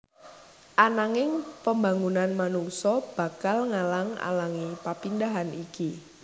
Ananging pembangunan manungsa bakal ngalang alangi papindahan iki